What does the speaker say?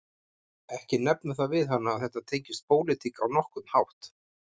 Ekki nefna það við hana að þetta tengist pólitík á nokkurn hátt